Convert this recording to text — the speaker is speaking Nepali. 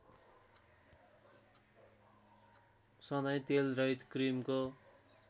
सधैँ तेलरहित क्रिमको